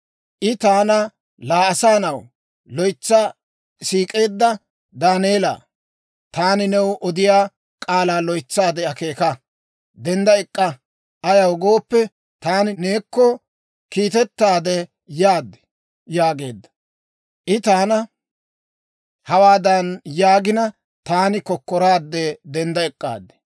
I taana, «Laa, S'oossay loytsi siik'eedda Daaneela, taani new odiyaa k'aalaa loytsaade akeeka; dendda ek'k'a. Ayaw gooppe, taani neekko kiitettaade yaad» yaageedda. I taana hawaadan yaagina, taani kokkoraadde dendda ek'k'aad.